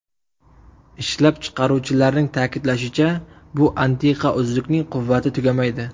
Ishlab chiqaruvchilarning ta’kidlashicha, bu antiqa uzukning quvvati tugamaydi.